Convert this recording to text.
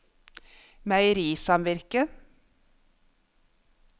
meierisamvirket